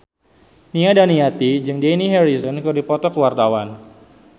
Nia Daniati jeung Dani Harrison keur dipoto ku wartawan